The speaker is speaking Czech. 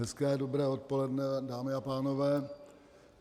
Hezké dobré odpoledne, dámy a pánové.